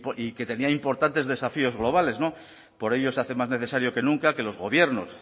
y que tenía importantes desafíos globales no por ello se hace más necesario que nunca que los gobiernos